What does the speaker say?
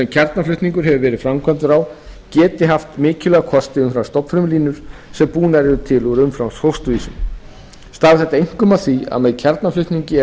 kjarnaflutningur hefur verið framkvæmdur á geti haft mikilvæga kosti umfram stofnfrumulínur sem búnar eru til úr umframfósturvísum stafar þetta einkum af því að með kjarnaflutningi er